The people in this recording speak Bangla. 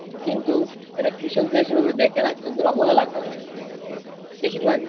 কিন্তু এরা কৃষকদের সেভাবে দেখেনা শুধু অবহেলা করে অনেকে বেশির বেশির ভাগই